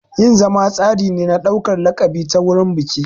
Yin zama tsari ne na ɗaukar laƙabi ta wurin biki.